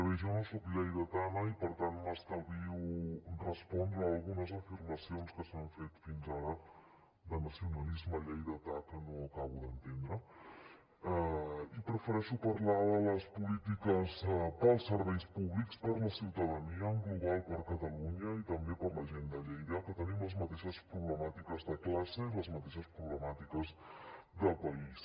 bé jo no soc lleidatana i per tant m’estalvio respondre algunes afirmacions que s’han fet fins ara de nacionalisme lleidatà que no acabo d’entendre i prefereixo parlar de les polítiques per als serveis públics per a la ciutadania en global per a catalunya i també per a la gent de lleida que tenim les mateixes problemàtiques de classe i les mateixes problemàtiques de país